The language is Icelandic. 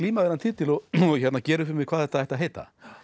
þennan titil og gera upp við mig hvað þetta ætti að heita